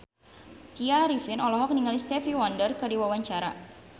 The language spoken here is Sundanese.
Tya Arifin olohok ningali Stevie Wonder keur diwawancara